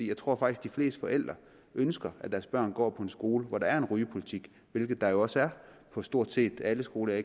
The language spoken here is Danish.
jeg tror at de fleste forældre ønsker at deres børn går på en skole hvor der er en rygepolitik hvilket der jo også er på stort set alle skoler